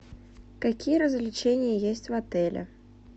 какие развлечения есть в отеле